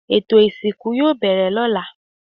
Ètò ìsìnkú yoo bẹ̀rẹ̀ ló̩la